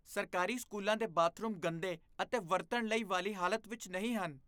ਸਰਕਾਰੀ ਸਕੂਲਾਂ ਦੇ ਬਾਥਰੂਮ ਗੰਦੇ ਅਤੇ ਵਰਤਣ ਲਈ ਵਾਲੀ ਹਾਲਤ ਵਿੱਚ ਨਹੀਂ ਹਨ।